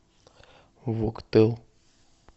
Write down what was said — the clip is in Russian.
вуктыл